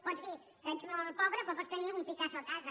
pots dir que ets molt pobre però pots tenir un picasso a casa